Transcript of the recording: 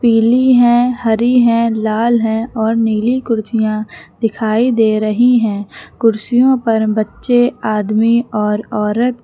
पीली हैं हरी हैं लाल है और नीली कुर्सियां दिखाई दे रही हैं कुर्सियों पर बच्चे आदमी और औरत --